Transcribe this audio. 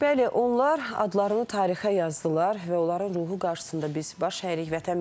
Bəli, onlar adlarını tarixə yazdılar və onların ruhu qarşısında biz baş əyirik.